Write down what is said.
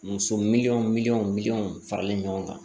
Muso miliyɔn mi miliyɔn miliyɔn farali ɲɔgɔn kan